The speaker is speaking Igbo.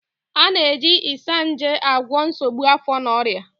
A na-eji Isanaje agwọ nsogbu afọ na ọrịa.